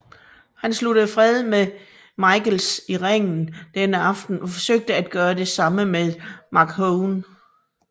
Hart sluttede fred med Michaels i ringen denne aften og forsøgte at gøre det samme med McMahon